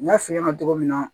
N y'a f'i ɲɛna cogo min na